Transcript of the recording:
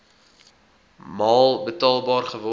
maal betaalbaar geword